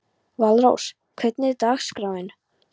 Valrós, hvernig er dagskráin?